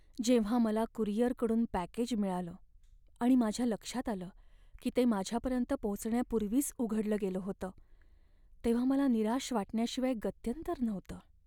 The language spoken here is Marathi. जेव्हा मला कुरिअरकडून पॅकेज मिळालं आणि माझ्या लक्षात आलं की ते माझ्यापर्यंत पोहोचण्यापूर्वीच उघडलं गेलं होतं, तेव्हा मला निराश वाटण्याशिवाय गत्यंतर नव्हतं.